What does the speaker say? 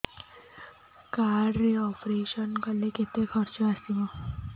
card ରେ operation କଲେ କେତେ ଖର୍ଚ ଆସିବ